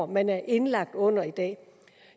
man er indlagt under i dag